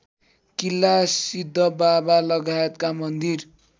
किल्ला सिद्धबाबालगायतका मन्दिर